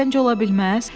Səncə, ola bilməz?